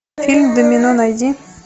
фильм домино найди